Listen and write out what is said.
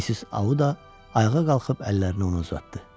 Missis Auda ayağa qalxıb əllərini ona uzatdı.